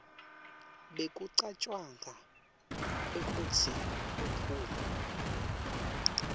bekucatjwanga kwekutsi uphuma